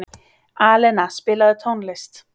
Alena, spilaðu tónlist.